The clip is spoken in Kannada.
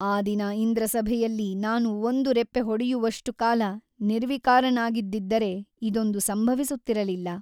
ಆ ದಿನ ಇಂದ್ರಸಭೆಯಲ್ಲಿ ನಾನು ಒಂದು ರೆಪ್ಪೆ ಹೊಡೆಯುವಷ್ಟು ಕಾಲ ನಿರ್ವಿಕಾರನಾಗಿದ್ದಿದ್ದರೆ ಇದೊಂದು ಸಂಭವಿಸುತ್ತಿರಲಿಲ್ಲ.